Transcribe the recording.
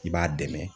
I b'a dɛmɛ